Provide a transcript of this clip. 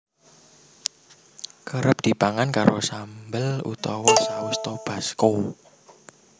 Kerep dipangan karo sambel utawa saus Tabasco